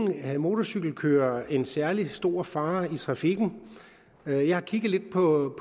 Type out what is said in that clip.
motorcykelkørere udgør en særlig stor fare i trafikken jeg har kigget lidt på